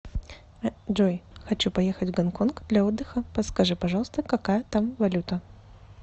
джой хочу поехать в гонконг для отдыха подскажи пожалуйста какая там валюта